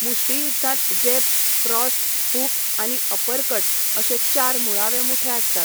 मुष्टियुध्दांत jab, cross, hook आनी uppercut अशे चार मुळावे मुठे आसतात.